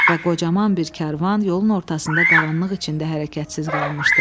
Və qocaman bir karvan yolun ortasında qaranlıq içində hərəkətsiz qalmışdı.